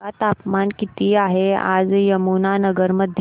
सांगा तापमान किती आहे आज यमुनानगर मध्ये